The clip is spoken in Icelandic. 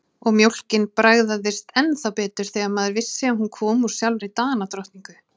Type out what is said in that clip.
Og mjólkin bragðaðist ennþá betur þegar maður vissi að hún kom úr sjálfri Danadrottningu.